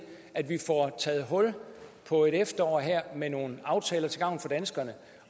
at vi får taget hul på et efterår med nogle aftaler til gavn for danskerne